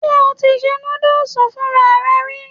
Ṣé o ti ṣe núdùsì fúnra rẹ rí?